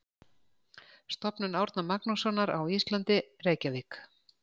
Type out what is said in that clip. Stofnun Árna Magnússonar á Íslandi, Reykjavík.